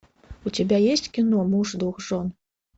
у тебя есть кино муж двух жен